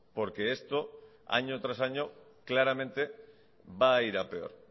porque esto año tras año claramente va a ir a peor